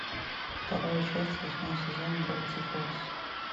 вторая часть восьмой сезон гравити фолз